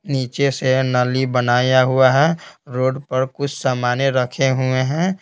नीचे से नली बनाया हुआ है रोड पर कुछ सामान रखे हुए हैं।